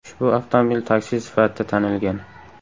Ushbu avtomobil taksi sifatida tanilgan.